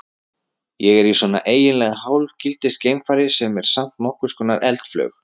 Ég er í svona eiginlega hálfgildings geimfari sem er samt nokkurs konar eldflaug.